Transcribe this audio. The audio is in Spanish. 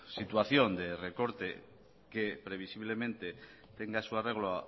situación de recorte que previsiblemente tenga su arreglo